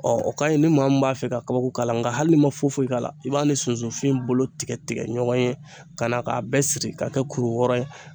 Ɔ o kaɲi ni maa min b'a fɛ ka kabako k'a la nka hali ma foyi foyi k'a la i b'a ni sunsunfin bolo tigɛ tigɛ ɲɔgɔn ye ka na k'a bɛɛ siri ka kɛ kuru wɔɔrɔ ye